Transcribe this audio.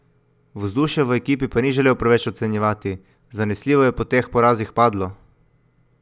Vzdušja v ekipi pa ni želel preveč ocenjevati: "Zanesljivo je po teh porazih padlo.